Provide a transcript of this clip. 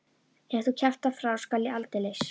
Ef þú kjaftar frá skal ég aldeilis.